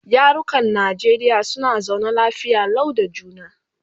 yarukan Najeriya suna zaune lafiya Lau da juna